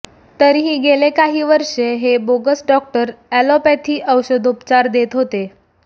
तरीही गेले काही वर्षे हे बोगस डॉक्टर अॅलॉपॅथी औषधोपचार देत होते